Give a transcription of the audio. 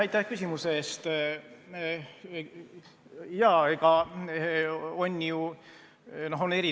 Aitäh küsimuse eest!